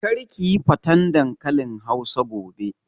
Kar kiyi faten dankalin hausa gobe!